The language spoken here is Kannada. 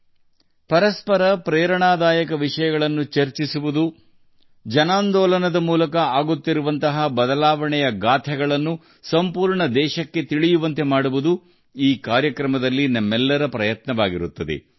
ಈ ಕಾರ್ಯಕ್ರಮದಲ್ಲಿ ಪರಸ್ಪರ ಸ್ಫೂರ್ತಿದಾಯಕ ಪ್ರಯತ್ನಗಳನ್ನು ಚರ್ಚಿಸುವುದು ಮತ್ತು ಇಡೀ ದೇಶಕ್ಕೆ ಜನಾಂದೋಲನದ ಮೂಲಕ ಬದಲಾವಣೆಯ ಪರಿವರ್ತನೆಯ ಕಥೆಯನ್ನು ಹೇಳುವುದು ನಮ್ಮ ಪ್ರಯತ್ನವಾಗಿದೆ